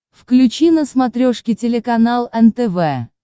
включи на смотрешке телеканал нтв